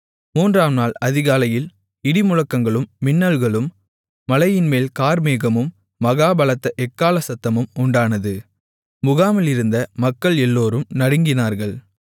மூன்றாம் நாள் அதிகாலையில் இடிமுழக்கங்களும் மின்னல்களும் மலையின்மேல் கார்மேகமும் மகா பலத்த எக்காள சத்தமும் உண்டானது முகாமிலிருந்த மக்கள் எல்லோரும் நடுங்கினார்கள்